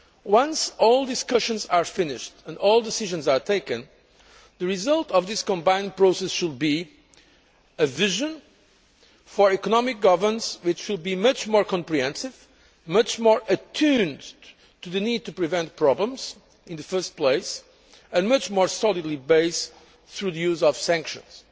Once all discussions are finished and all decisions are taken, the result of this combined process should be a vision for economic governance which will be much more comprehensive, much more attuned to the need to prevent problems in the first place, and much more solidly based through the use of sanctions.